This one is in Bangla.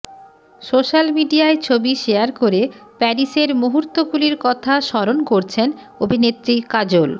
সোশ্যাল মিডিয়ায় ছবি শেয়ার করে প্যারিসের মুহুর্তগুলির কথা স্মরণ করছেন অভিনেত্রী কাজল